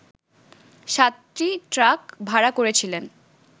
সাতটি ট্রাক ভাড়া করেছিলেন